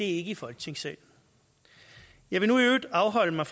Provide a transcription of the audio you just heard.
ikke i folketingssalen jeg vil nu i øvrigt afholde mig